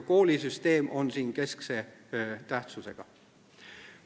Koolisüsteem on siin keskse tähtsusega.